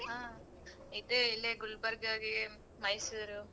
ಹ್ಮ ಇದೆ ಇಲ್ಲೇ ಗುಲ್ಬರ್ಗಗೆ ಮೈಸೂರು.